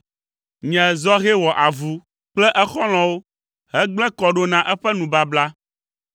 Nye zɔhɛ wɔ avu kple exɔlɔ̃wo hegblẽ kɔ ɖo na eƒe nubabla.